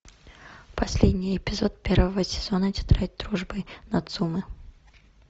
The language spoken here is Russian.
последний эпизод первого сезона тетрадь дружбы нацумэ